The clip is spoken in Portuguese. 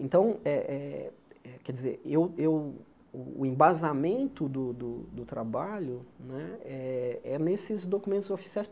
Então, eh eh eh quer dizer eu eu o embasamento do do do trabalho né é é nesses documentos oficiais.